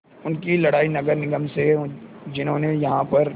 उनकी लड़ाई नगर निगम से है जिन्होंने यहाँ पर